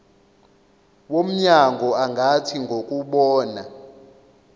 womnyango angathi ngokubona